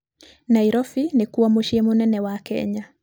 Nairobi nĩkuo mũciĩ mũnene wa Kenya.